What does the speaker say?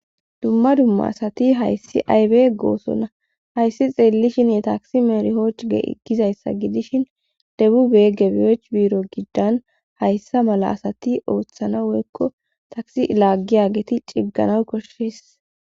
dumma dumma asati hayssi aybe goosonna hayssi xeellishinye taksi meerhooch gizayssa gidishin debu beegebiyech biiro giddan hayssa mala asati ooththana woykko taksi laaggiyageti ciggana koshshees